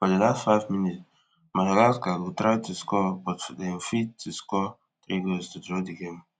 for di last five minutes madagascar go try to score but dem fit to score three goals to draw di game